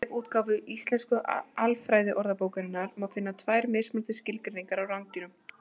Í vefútgáfu Íslensku alfræðiorðabókarinnar má finna tvær mismunandi skilgreiningar á rándýrum.